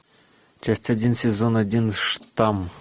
часть один сезон один штам